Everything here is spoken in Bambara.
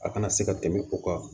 A kana se ka tɛmɛ o kan